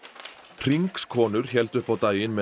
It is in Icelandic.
Hringskonur héldu upp á daginn með